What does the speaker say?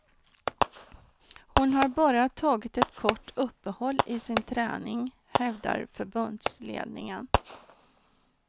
Hon har bara tagit ett kort uppehåll i sin träning, hävdar förbundsledningen.